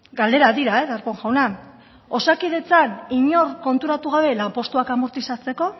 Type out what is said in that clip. galderak dira darpón jauna osakidetzan inor konturatu gabe lanpostuak amortizatzeko